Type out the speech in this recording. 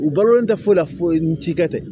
U balolen tɛ foyi la foyi foyi n'i ka tɛ